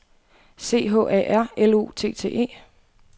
C H A R L O T T E